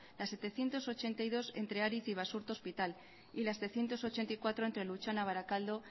la setecientos ochenta y dos entre ariz y basurto hospital y la setecientos ochenta y cuatro entre lutxana barakaldo